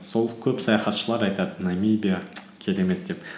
сол көп саяхатшылар айтады намибия керемет деп